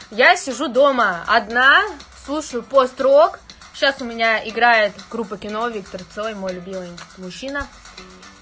я сижу дома одна слушаю пост-рок сейчас у меня играет группа кино виктор цой мой любимый мужчина